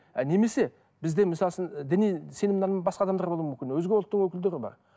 і немесе бізде мысалы үшін і діни сенім нанымы басқа адамдар болуы мүмкін өзге ұлттың өкілдері бар